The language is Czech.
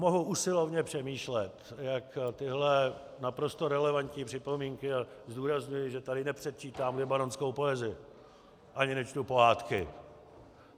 Mohu usilovně přemýšlet, jak tyhle naprosto relevantní připomínky - a zdůrazňuji, že tady nepředčítám libanonskou poezii ani nečtu pohádky.